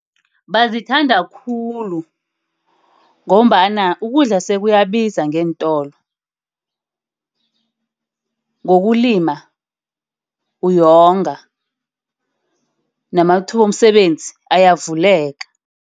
Bazithanda khulu ngombana ukudla sekuyabiza ngeentolo. Ngokulima uyalonga. Namathuba womsebenzi ayavuleka.